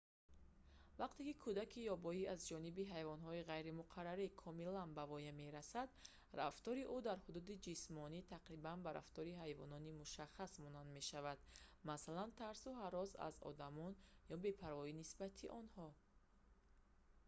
вақте ки кӯдаки ёбоӣ аз ҷониби ҳайвонҳои ғайримуқаррарӣ комилан ба воя мерасад рафтори ӯ дар ҳудуди ҷисмонӣ тақрибан ба рафтори ҳайвони мушаххас монанд мешавад масалан тарсу ҳарос аз одамон ё бепарвоӣ нисбати онҳо